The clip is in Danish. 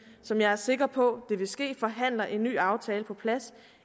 som jeg er sikker på vil ske forhandler en ny aftale på plads